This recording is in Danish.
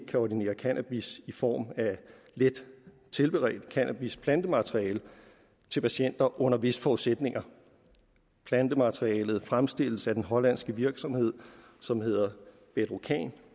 kan ordinere cannabis i form af let tilberedt cannabis plantemateriale til patienter under visse forudsætninger plantematerialet fremstilles af den hollandske virksomhed som hedder bedrocan